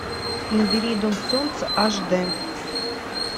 набери дом солнца аш дэ